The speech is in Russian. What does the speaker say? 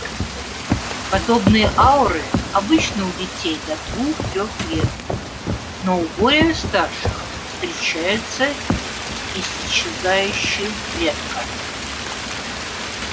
подобные ауры обычны у детей до двух-трех лет но у более старших встречаются исчезающе редко